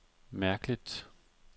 mærkeligt